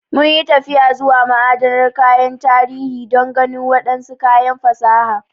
Mun yi tafiya zuwa ma'adanar kayan tarihi don ganin wadansu kayan fasaha.